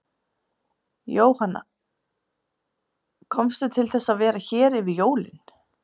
Jóhanna: Komstu til þess að vera hér yfir jólin?